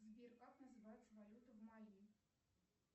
сбер как называется валюта в мали